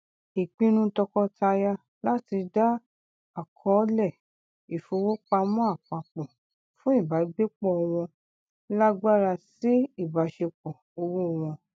ìpinnu tọkọtaya láti dá àkọọlẹ ìfowópamọ apapọ fún ìbágbépọ wọn lágbára sí ìbáṣepọ owó wọn